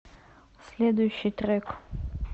следующий трек